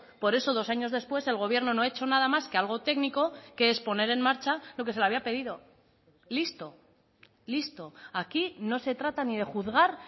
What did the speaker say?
por eso dos años después el gobierno no ha hecho nada más que algo técnico que es poner en marcha lo que se le había pedido listo listo aquí no se trata ni de juzgar